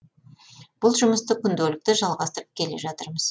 бұл жұмысты күнделікті жалғастырып келе жатырмыз